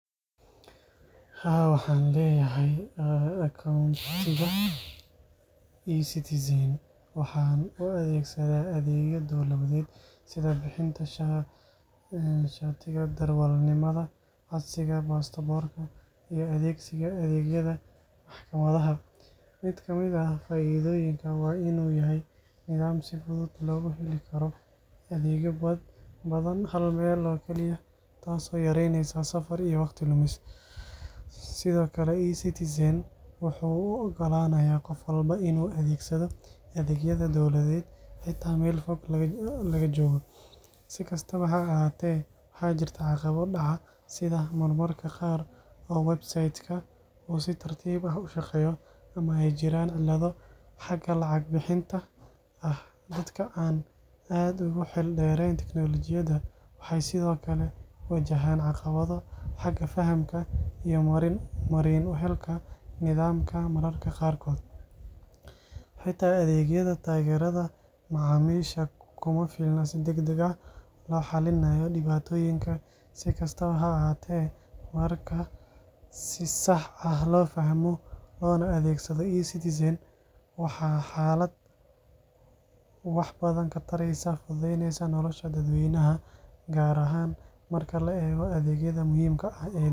Haa, waxaan leeyahay akoontiga eCitizen waxaana u adeegsadaa adeegyo dowladeed sida bixinta shatiga darawalnimada, codsiga baasaboorka, iyo adeegsiga adeegyada maxkamadaha. Mid ka mid ah faa'iidooyinka waa in uu yahay nidaam si fudud loogu heli karo adeegyo badan hal meel oo kaliya, taasoo yareyneysa safar iyo waqti lumis. Sidoo kale, eCitizen wuxuu u oggolaanayaa qof walba inuu adeegsado adeegyada dowladeed xitaa meel fog laga joogo. Si kastaba ha ahaatee, waxaa jirta caqabado dhaca, sida mararka qaar oo website-ka uu si tartiib ah u shaqeeyo, ama ay jiraan cilado xagga lacag bixinta ah. Dadka aan aad ugu xeel dheereyn tiknoolajiyadda waxay sidoo kale wajahayaan caqabado xagga fahamka iyo marin u helka nidaamka. Mararka qaarkood, xitaa adeegyada taageerada macaamiisha kuma filna si degdeg ah loo xalliyo dhibaatooyinka. Si kastaba ha ahaatee, marka si sax ah loo fahmo loona adeegsado, eCitizen waa aalad wax badan ka taraysa fududeynta nolosha dadweynaha, gaar ahaan marka la eego adeegyada muhiimka ah ee dowliga ah.